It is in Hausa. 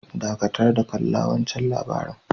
Dakatar da kalla wancan labari'n.